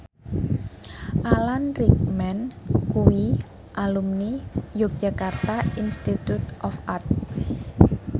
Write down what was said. Alan Rickman kuwi alumni Yogyakarta Institute of Art